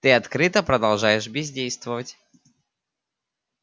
ты открыто продолжаешь бездействовать